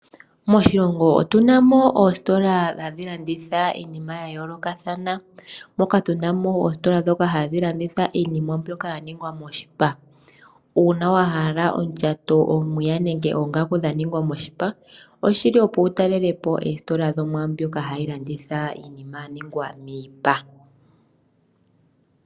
Moshilongo otu na mo oositola hadhi landitha iinima ya yoolokathana moka tu na mo oositola ndhoka hadhi landitha iinima mbyoka ya ningwa moshipa. Uuna wa hala odjato, omwiya nenge oongaku dha ningwa moshipa oshi li opo wu talelepo oositola dho mwaandhoka hashi landitha iinima ya ningwa miipa.